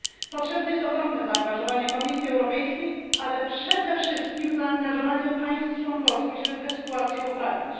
Potrzebne jest ogromne zaangażowanie Komisji Europejskiej, ale przede wszystkim zaangażowanie państw członkowskich, żeby tę sytuację poprawić.